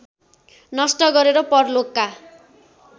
नष्ट गरेर परलोकका